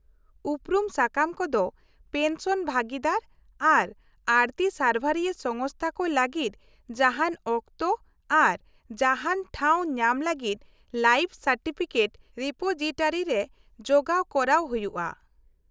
-ᱩᱯᱨᱩᱢ ᱥᱟᱠᱟᱢ ᱠᱚᱫᱚ ᱯᱮᱱᱥᱚᱱ ᱵᱷᱟᱹᱜᱤᱫᱟᱨ ᱟᱨ ᱟᱲᱹᱛᱤ ᱥᱟᱨᱵᱷᱟᱨᱨᱤᱭᱟᱹ ᱥᱚᱝᱥᱛᱷᱟ ᱠᱚ ᱞᱟᱹᱜᱤᱫ ᱡᱟᱦᱟᱱ ᱚᱠᱛᱚ ᱟᱨ ᱡᱟᱦᱟᱱ ᱴᱷᱟᱣ ᱧᱟᱢ ᱞᱟᱹᱜᱤᱫ ᱞᱟᱭᱤᱯᱷ ᱥᱟᱨᱴᱤᱯᱷᱤᱠᱮᱴ ᱨᱤᱯᱳᱡᱤᱴᱟᱨᱤᱨᱮ ᱡᱚᱜᱟᱣ ᱠᱚᱨᱟᱣ ᱦᱳᱭᱳᱜᱼᱟ ᱾